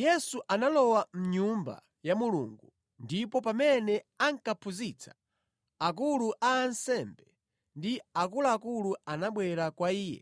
Yesu analowa mʼNyumba ya Mulungu, ndipo pamene ankaphunzitsa, akulu a ansembe ndi akuluakulu anabwera kwa Iye